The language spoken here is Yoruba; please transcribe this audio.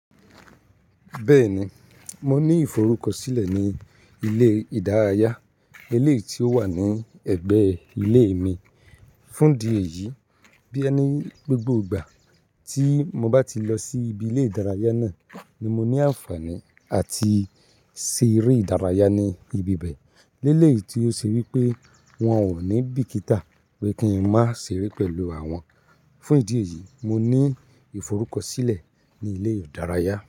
Bẹ́ẹ̀ni, mo ní ìforúkọsílẹ̀ ní ilé ìdárayá, éléyì tí ó wà ní ẹ̀gbẹ́ ilé mi. Fún ìdí ẹ̀yìí, bóyá ni gbogbo ìgbà tí mo bá ti lọ sí ibi ilé ìdárayá náà ní mo ní àǹfààní àti ṣeré ìdárayá ní ibi bẹ̀. Lélèèyi tí ó ṣe wípé wón ò ní bìkítà pé kí n má ṣe re pẹ̀lú àwọn. Fún ìdí èyí, mo ní ìforúkọsílẹ̀ ní ilé ìdárayá.